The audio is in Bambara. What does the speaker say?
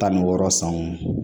Tan ni wɔɔrɔ sanw